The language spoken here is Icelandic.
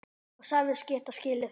Og sagðist geta skilið það.